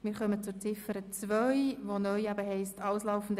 Wir kommen zu Ziffer 2, die umformuliert wurde.